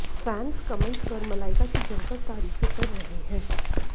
fans comments कर मलाइका की जमकर तारीफें कर रहे हैं